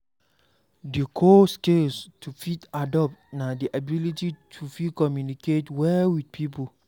Di core skill to fit adapt na di ability to fit communicate well with pipo